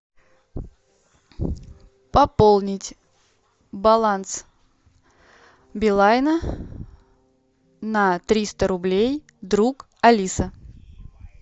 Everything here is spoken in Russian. пополнить баланс билайна на триста рублей друг алиса